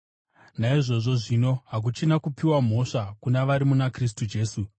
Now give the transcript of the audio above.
Naizvozvo zvino, hakuchina kupiwa mhosva kuna vari muna Kristu Jesu,